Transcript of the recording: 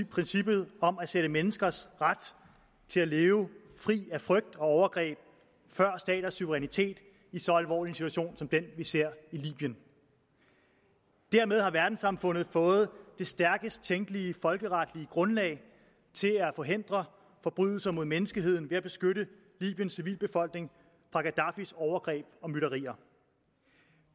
princippet om at sætte menneskers ret til at leve fri af frygt og overgreb før staters suverænitet i så alvorlig en situation som den vi ser i libyen dermed har verdenssamfundet fået det stærkest tænkelige folkeretlige grundlag til at forhindre forbrydelser mod menneskeheden ved at beskytte libyens civilbefolkning fra gaddafis overgreb og myrderier